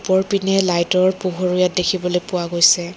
ওপৰ পিনে লাইট ৰ পোহৰো ইয়াত দেখিবলৈ পোৱা গৈছে।